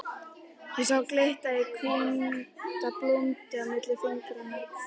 Ég sá glitta í hvíta blúndu milli fingra.